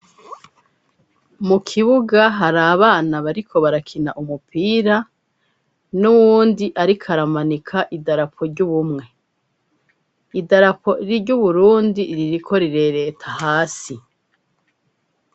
Mu kibuga hari abana bariko barakina umupira, n'uwundi ariko aramanika idarapo ry'Ubumwe, idarapo ry'u Burundi ririko rirereta hasi.